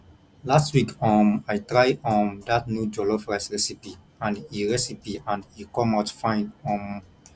last week um i try um dat new jollof rice recipe and e recipe and e come out fine um